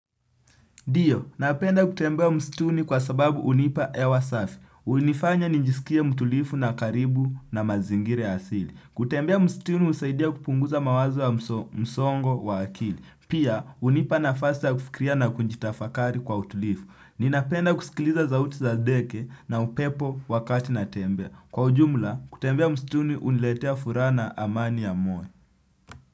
Dio, napenda kutembea msituni kwa sababu unipa hewa safi. Unifanya ninjisikia mtulifu na karibu na mazingire asili. Kutembea msituni usaidia kupunguza mawazo wa msongo wa akili. Pia, unipa na fasi ya kufikria na kunjitafakari kwa mtulifu. Ninapenda kusikiliza sa uti za ndeke na upepo wakati natembea. Kwa ujumla, kutembea msituni uniletea furaha na amani ya moyo.